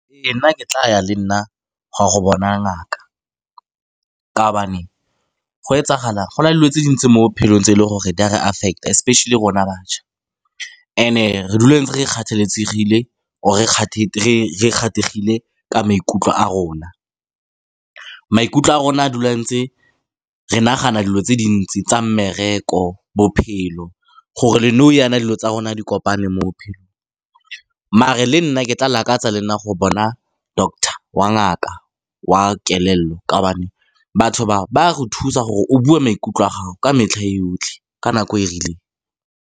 Ee, nna ke tla ya le nna go a go bona ngaka ka gobane go na le dilo tse dintsi mo bophelong tse e leng gore di a re affect-a, especially rona bašwa. And-e re dula re ntse re kgathaletsegile or-e ka maikutlo a rona, maikutlo a rona a dula ntse re nagana dilo tse dintsi tsa mmereko, bophelo, gore le nou jaana dilo tsa rona di kopane mo bophelo. Maar-e le nna ke tla lakatsa le nna go bona doctor wa ngaka wa kelello ka gobane batho bao ba go thusa gore o bue maikutlo a gago ka metlha e yotlhe ka nako e e rileng.